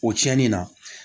O tiɲɛni na